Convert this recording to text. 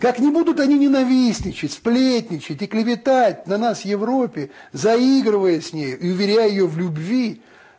как не будут они ненавистничать сплетничать и клеветать на нас в европе заигрывая с нею и уверяя её в любви